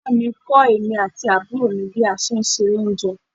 Ìyá mi kọ èmi àti àbúrò mi bí a ṣe ń se oúnjẹ.